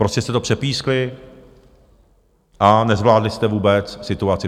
Prostě jste to přepískli a nezvládli jste vůbec situaci.